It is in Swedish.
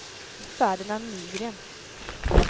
Ferdinand Nygren